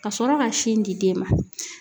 Ka sɔrɔ ka sin di den ma.